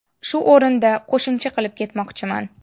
Shu o‘rinda qo‘shimcha qilib ketmoqchiman.